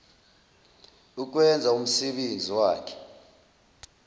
ukwenza umsebenzi wakhe